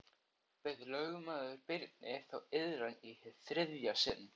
Bauð lögmaður Birni þá iðran í hið þriðja sinn.